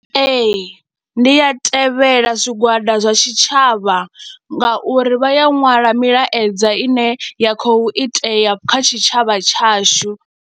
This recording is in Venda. Ee, ndi a tevhela zwigwada zwa tshitshavha ngauri vha ya ṅwala milaedza ine ya khou itea kha tshitshavha tshashu.